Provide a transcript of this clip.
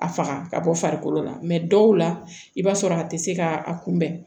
A faga ka bɔ farikolo la dɔw la i b'a sɔrɔ a tɛ se ka a kunbɛn